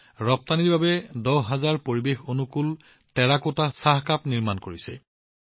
এই মহিলাসকলে ৰপ্তানিৰ বাবে দহ হাজাৰ পৰিৱেশঅনুকূল টেৰাকোটা চাহ কাপ তৈয়াৰ কৰিছিল